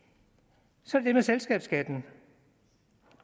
så det med selskabsskatten